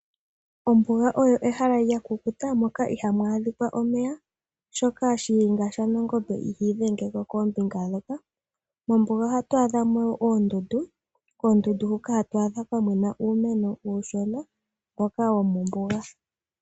Ombuga olyo ehala lyakukuta moka ihaamu adhikwa omeya, oshoka Shiyenga shanangombe ihiidhengeko koombinga ndhoka. Mombuga ohatu adhamo oondundu, hoka hatu adha kwamena uumeno uushona mboka womombuga.